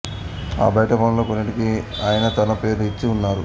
ఆ బయటి పనులలో కొన్నిటికి ఆయన తన పేరు ఇచ్చి ఉన్నారు